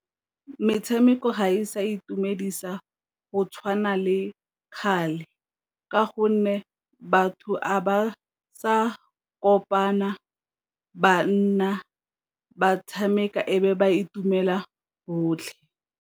Metshameko ga e sa itumedisa go tshwana le kgale, ka gonne batho ga ba sa kopana ba nna ba tshameka e be ba itumela botlhe.